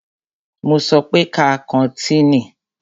Mo sọ pé ká kọ́tìnì!